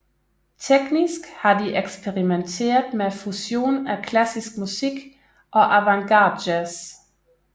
Teknisk har de eksperimenteret med fusion af klassisk musik og avantgardejazz